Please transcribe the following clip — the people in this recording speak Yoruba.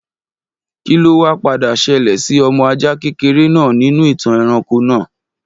Kí ló wa padà ṣẹlẹ̀ sí ọmọ ajá kékeré náà nínú ìtàn ẹranko náà